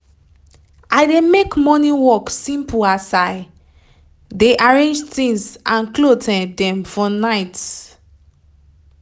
i dey make morning work simple as i dey arrange tinz and clothe um dem for night